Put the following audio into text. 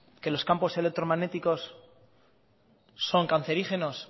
que los campos electromagnéticos son cancerígenos